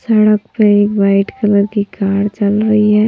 सड़क पे एक वाइट कलर की कार चल रही है।